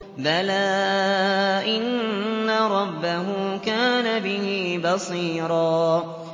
بَلَىٰ إِنَّ رَبَّهُ كَانَ بِهِ بَصِيرًا